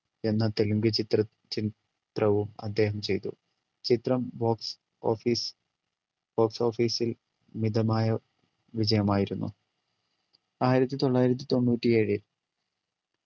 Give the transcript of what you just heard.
എന്ന തെലുങ്ക് ചിത്രത്തി ചിത്രവും അദ്ദേഹം ചെയ്തു ചിത്രം box office box office ൽ മിതമായ വിജയമായിരുന്നു ആയിരത്തിത്തൊള്ളായിരത്തി തൊണ്ണൂറ്റിയേഴിൽ